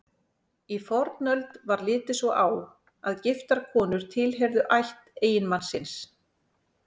Í fornöld var litið svo á að giftar konur tilheyrðu ætt eiginmanns síns.